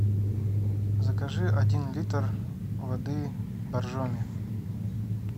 закажи один литр воды боржоми